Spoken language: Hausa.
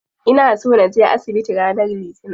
Ina so naje asibiti ranar litinin.